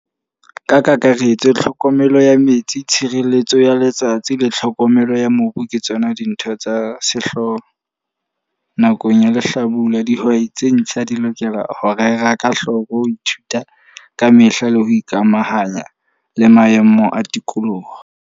Ka kakaretso, tlhokomelo ya metsi, tshireletso ya letsatsi, le tlhokomelo ya mobu, ke tsona dintho tsa sehloho nakong ya lehlabula. Dihwai tse ntjha di lokela ho rera ka hloko. Ho ithuta ka mehla le ho ikamahanya le maemo a tikoloho.